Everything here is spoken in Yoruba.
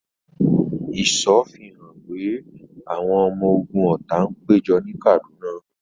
Ìṣọ́ fi hàn pé àwọn ọmọ ogun ọ̀tá ń péjọ ní Kaduna.